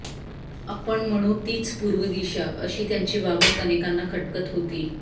आपण म्हणू तीच पूर्व दिशा अशी त्यांची वागणूक अनेकांना खटकत होती